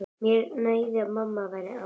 Mér nægði að mamma væri ánægð.